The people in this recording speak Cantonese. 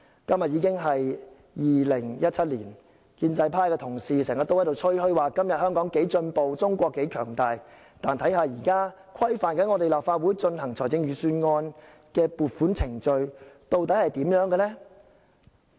今天已經是2017年，建制派同事經常吹噓今天香港有多進步，中國有多強大，但現時規範立法會進行預算案撥款的程序究竟如何？